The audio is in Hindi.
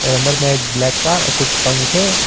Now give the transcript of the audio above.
अंदर में एक ब्लैक कार और कुछ पंखे।